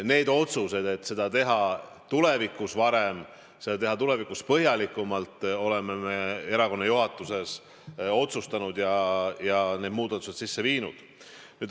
Need otsused, et seda teha tulevikus varem ja uurida põhjalikumalt, oleme me erakonna juhatuses teinud ja need muudatused sisse viinud.